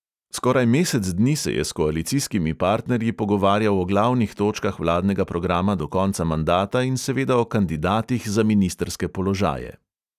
Skoraj mesec dni se je s koalicijskimi partnerji pogovarjal o glavnih točkah vladnega programa do konca mandata in seveda o kandidatih za ministrske položaje.